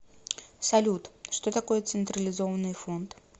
салют что такое централизованный фонд